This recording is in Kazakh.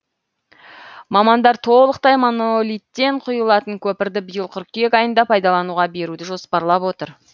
мамандар толықтай монолиттен құйылатын көпірді биыл қыркүйек айында пайдалануға беруді жоспарлап отыр